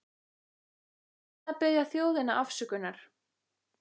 En hvað með að biðja þjóðina afsökunar?